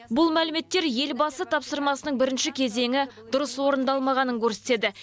бұл мәліметтер елбасы тапсырмасының бірінші кезеңі дұрыс орындалмағанын көрсетеді